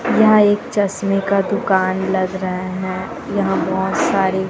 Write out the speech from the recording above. यह एक चश्मे का दुकान लग रहे है यहाँ बहुत सारे --